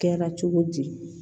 Kɛra cogo di